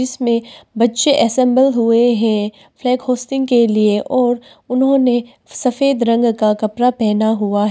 इसमें बच्चे असेंबल हुए हैं फ्लैग होस्टिंग के लिए और उन्होंने सफेद रंग का कपड़ा पहना हुआ है।